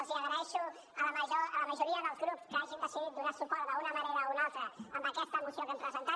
els hi agraeixo a la majoria dels grups que hagin decidit donar suport d’una manera o una altra a aquesta moció que hem presentat